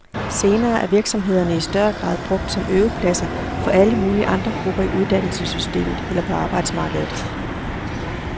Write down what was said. Senere er virksomhederne i større grad brugt som øvepladser for alle mulige andre grupper i uddannelsessystemet eller på arbejdsmarkedet.